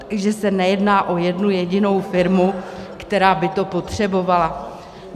Takže se nejedná o jednu jedinou firmu, která by to potřebovala.